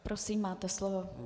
Prosím, máte slovo.